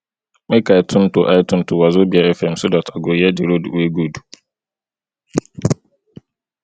make i tune to i tune to wazobia fm so dat i go hear di road wey good